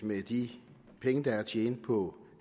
med de penge der er at tjene på